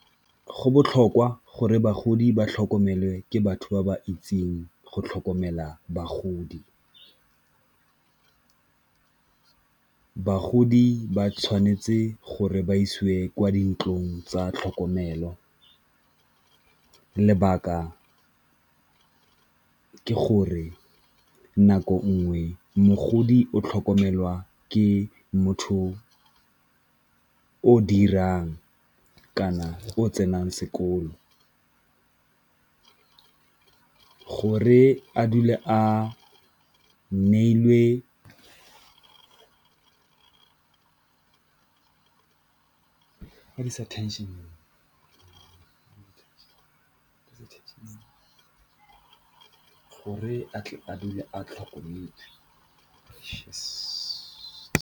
Go botlhokwa gore bagodi ba tlhokomelwe ke batho ba ba itseng go tlhokomela bagodi, bagodi ba tshwanetse gore ba isiwe kwa dintlong tsa tlhokomelo lebaka ke gore nako nngwe mogodi o tlhokomelwa ke motho o dirang kana o tsenang sekolo. Go re a dule a neilwe , gore a tle a dule a tlhokometswe.